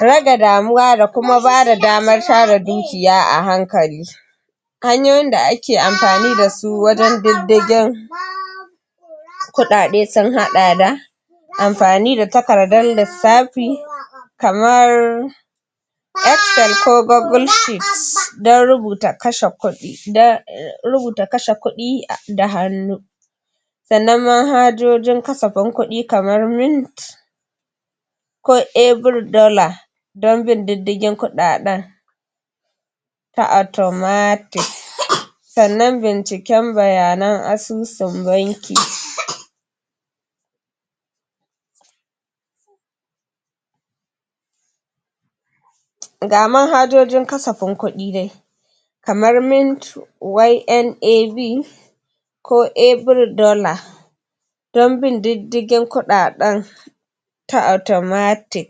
Rage damuwa da ta abubuwan da sukafi muhimmanci da kuma tanadin kudi don bukatun gaba yana hana wuce gona da irin. Rage damuwa da kuma bada damar tara dukiya a hankali hanyoyin da ake amfani da su wajen diddigin kudade sun haɗa da amfani da takardan lissafi kamar excel ko google sheet don rubuta kashe kudi da hannu sannan manhajojin kasafin kuɗi kaman mint ko every dollar don bin diddigin kuɗaɗen ta automatic sannan binciken bayanan asusun banki ga manhajojin kasafin kuɗi dai kamar mint ynav ko every dollar don bin diddigin kuɗaɗen ta automatic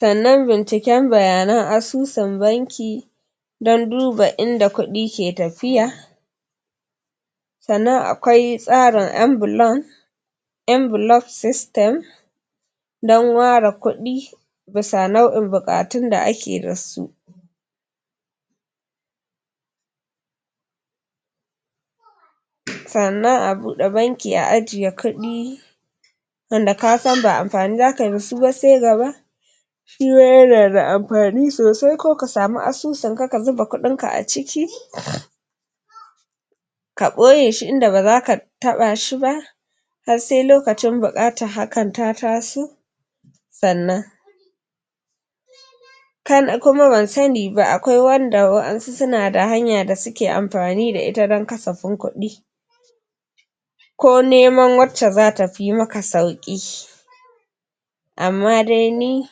sannan binciken bayanan asusun banki don duba inda kuɗi ke tafiya sannan akwai tsarin envolpe system don ware kuɗi bisa nau'in buƙatun da ake da su. sannan a bude banki a ajiye kuɗi wanda ka san ba amfani za kayi da su ba sai gaba shima yanada amfani sosai ko ka samu asusun ka ka zuba kuɗin ka a ciki ka ɓoye shi inda ba zaka taɓa shi ba har sai lokacin buƙatar hakan ta taso sannan kuma ban sani ba akwai wanda wasu ssunada hanya da suke amfani da ita don kasafin kuɗi ko neman wacce za ta fi maka sauƙi amma dai ni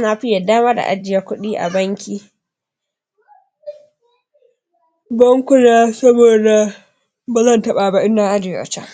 na fi yarda ma da ajiye kuɗi a banki bankuna saboda bazan taɓa ba idan na ajiye a chan.